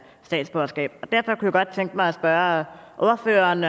statsborgerskab derfor kunne jeg godt tænke mig at spørge ordføreren